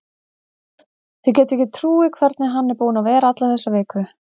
Þið getið ekki trúað hvernig hann er búinn að vera alla þessa viku.